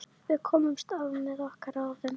Við komumst af með okkar ráðum.